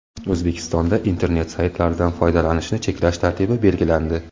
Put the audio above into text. O‘zbekistonda internet saytlaridan foydalanishni cheklash tartibi belgilandi.